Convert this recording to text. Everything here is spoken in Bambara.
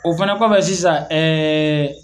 O fana kɔfɛ sisan ee